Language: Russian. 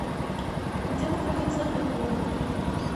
где находится экойл